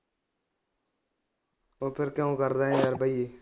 ਤੋਂ ਫਿਰ ਕਿਉਂ ਕੱਢ ਰਹੇ ਭਈਏ